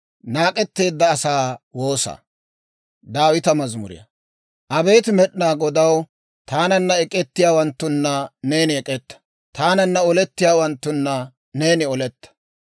Abeet Med'inaa Godaw, taananna ek'ettiyaawanttuna neeni ek'etta; taananna olettiyaawanttuna neeni oletta.